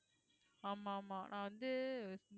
ஆமா ஆமா நான் வந்து